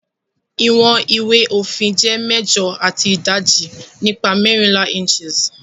iwọn ìwé òfin jé mẹjọ ati idaji nipa mẹrinla inches